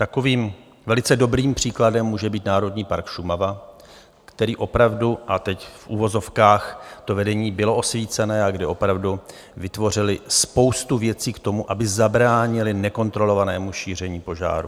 Takovým velice dobrým příkladem může být Národní park Šumava, který opravdu, a teď v uvozovkách, to vedení bylo osvícené a kde opravdu vytvořili spoustu věcí k tomu, aby zabránili nekontrolovanému šíření požáru.